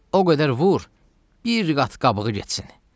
O qədər vur, bir qat qabığı getsin.